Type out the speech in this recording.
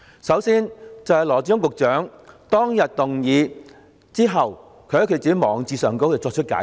首先，羅致光局長當日提出有關動議後，在自己的網誌上作出解釋。